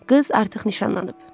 Qız artıq nişanlanıb.